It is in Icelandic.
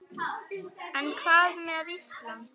En hvað með Ísland.